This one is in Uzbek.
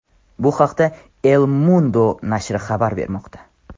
Bu haqda El Mundo nashri xabar bermoqda .